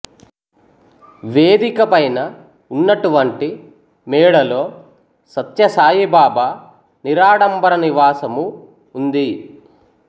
వేదిక పైన ఉన్నటువంటి మేడలో సత్య సాయి బాబా నిరాడంబర నివాసము ఉంది